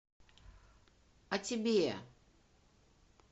а тебе